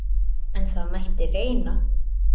En það mætti reyna!